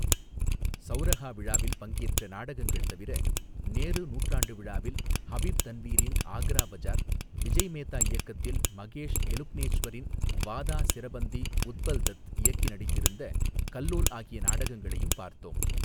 சௌரஹா விழாவில் பங்கேற்ற நாடகங்கள் தவிர நேரு நூற்றாண்டு விழாவில் ஹபீப் தன்வீரின் ஆக்ரா பஜார் விஜய் மேத்தா இயக்கத்தில் மகேஷ் எலுக்னேச்வரின் வாதா சிரபந்தி உத்பல்தத் இயக்கி நடித்திருந்த கல்லோல் ஆகிய நாடகங்களையும் பார்த்தோம்.